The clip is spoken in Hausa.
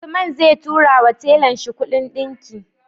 Usman zai tura wa tellan shi Ƙudin dinki